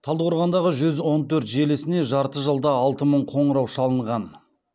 талдықорғандағы жүз он төрт желісіне жарты жылда алты мың қоңырау шалынған